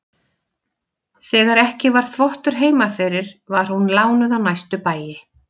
Þegar ekki var þvottur heima fyrir var hún lánuð á næstu bæi.